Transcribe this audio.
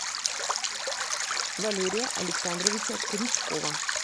валерия александровича крючкова